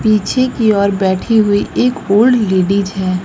पीछे की ओर बैठी हुई एक ओल्ड लेडीज है।